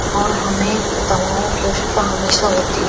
और हमें दवाओं की आवश्यकता हमेशा होती --